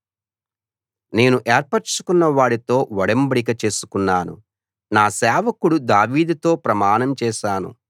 నేను ఏర్పరచుకున్న వాడితో ఒడంబడిక చేసుకున్నాను నా సేవకుడు దావీదుతో ప్రమాణం చేశాను